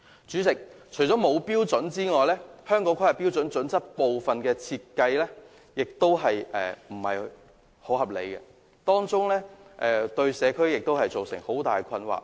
主席，除了沒有標準外，《規劃標準》所設定的部分標準亦不大合理，對社區造成極大困擾。